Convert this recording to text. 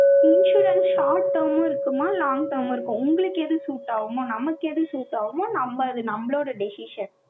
insurance short term மும் இருக்குமா! long ஆவும் இருக்கும். உங்களுக்கு எது suit ஆகுமோ? நமக்கு எது suit ஆகுமோ, நம்ம அது நம்மளோட decision